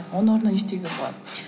оның орнына не істеуге болады